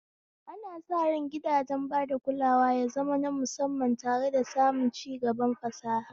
Ana sa ran gidajen bada kulawa ya zama na musamman tare da samun cigaban fasaha.